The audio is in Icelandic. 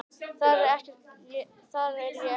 Þar er ég ekki sammála.